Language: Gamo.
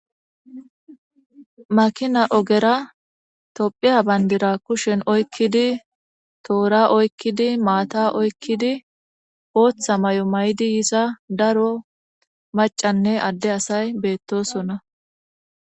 Makina ogera tophiya bayndira kushen oykkidi toora oykkidi maata oykkidi ooththa may'o may'di yiza daro macanne adde asay beettosona.